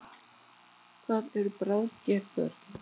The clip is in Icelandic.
Hvað eru bráðger börn?